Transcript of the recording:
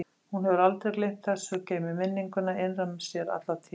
Hún hefur aldrei gleymt þessu, geymir minninguna innra með sér alla tíð.